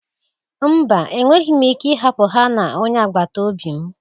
Mba, enweghị m ike ịhapụ ha na onye agbata obi m